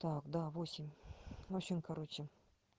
так да восемь в общем короче